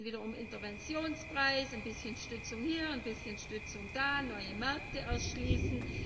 Es geht dann wieder um Interventionspreise, ein bisschen Stützung hier, ein bisschen Stützung da, neue Märkte erschließen.